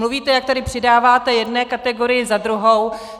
Mluvíte, jak tady přidáváte jedné kategorii za druhou.